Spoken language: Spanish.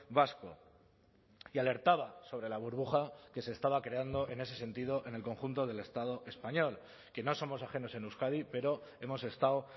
vasco y alertaba sobre la burbuja que se estaba creando en ese sentido en el conjunto del estado español que no somos ajenos en euskadi pero hemos estado